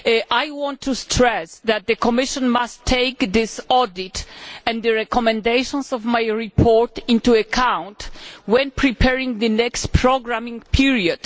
I want to stress that the Commission must take this audit and the recommendations of my report into account when preparing the next programming period.